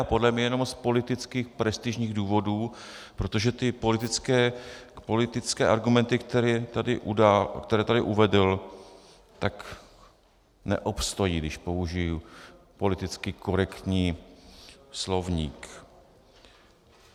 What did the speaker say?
A podle mě jenom z politických prestižních důvodů, protože ty politické argumenty, které tady uvedl, tak neobstojí, když použiji politicky korektní slovník.